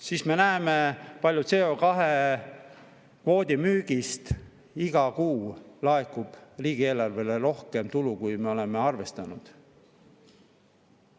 Siis me näeme, kui palju laekub CO2-kvoodi müügist iga kuu riigieelarvesse rohkem tulu, kui me oleme arvestanud.